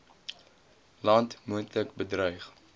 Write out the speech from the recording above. land moontlik bedreig